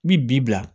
N bi bi bila